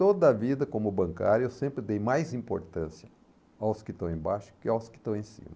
Toda a vida, como bancário, eu sempre dei mais importância aos que estão embaixo do que aos que estão em cima.